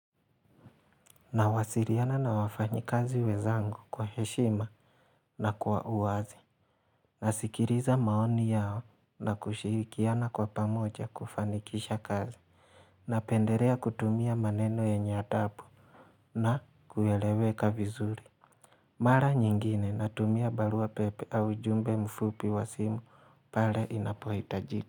Nawasiliana na wafanyikazi wenzangu kwa heshima na kwa uwazi. Nasikiliza maoni yao na kushirikiana kwa pamoja kufanikisha kazi. Napendelea kutumia maneno adabu na kueleweka vizuri. Mara nyingine natumia barua pepe au jumbe mfupi wa simu pale inapohitajika.